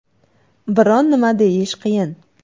Biron nima deyish qiyin.